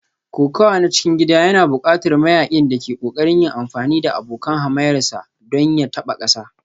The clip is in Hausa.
Kokawa na cikin gida yana buƙatar mayaƙin da ke ƙoƙarin yin amfani da abokan hamayyarsa don ya taɓa ƙasa